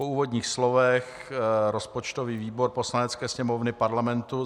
Po úvodních slovech rozpočtový výbor Poslanecké sněmovny Parlamentu